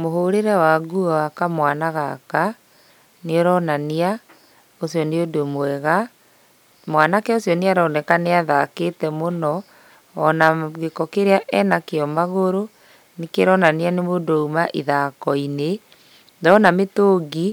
Mũhũrĩre wa nguo wa kamwana gaka nĩũronania ũcio nĩ ũndũ mwega. Mwanake ũcio nĩaroneka nĩathakĩte mũno, ona gĩko kĩrĩa ĩnakĩo magũrũ nĩkĩronania nĩ mũndũ ũma ithakoinĩ. Ndona mĩtũngi